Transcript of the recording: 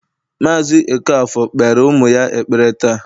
Mazị Okafor kpere ụmụ ya ekpere taa